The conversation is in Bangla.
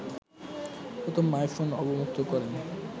প্রথম আইফোন অবমুক্ত করেন